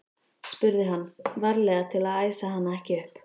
spurði hann, varlega til að æsa hana ekki upp.